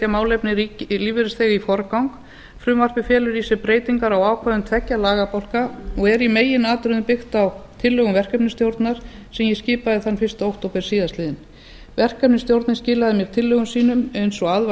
málefni lífeyrisþega í forgang frumvarpið felur í sér breytingar á ákvæðum tveggja lagabálka og er í meginatriðum byggt á tillögum verkefnisstjórnar sem ég skipaði þann fyrsta október síðastliðinn verkefnisstjórnin skilaði mér tillögum sínum eins og að var